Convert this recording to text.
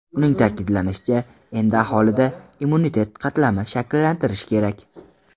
Uning ta’kidlashicha, endi aholida immunitet qatlamini shakllantirish kerak.